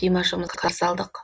димашымызды қарсы алдық